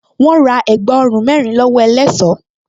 Wọ́́n ra ẹ̀gbá ọrùn mẹ́rin lọ́wọ́ ẹlẹṣọ́